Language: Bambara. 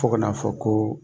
Fo ka n'a fɔ ko